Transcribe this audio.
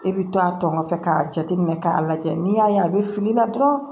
E bɛ to a tɔ nɔfɛ k'a jateminɛ k'a lajɛ n'i y'a ye a bɛ fili la dɔrɔn